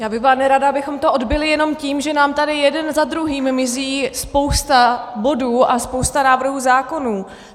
Já bych byla nerada, abychom to odbyli jenom tím, že nám tady jeden za druhým mizí spousta bodů a spousta návrhů zákonů.